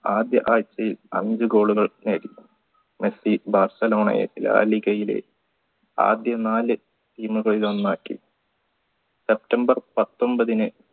ആദ്യ ആഴ്ചയിൽ അഞ്ചു goal കൾ നേടി മെസ്സി ബാർസലോണയെ ലാലിഗയിലെ ആദ്യ നാല് team കളിൽ ഒന്നാക്കി september പത്തൊമ്പത്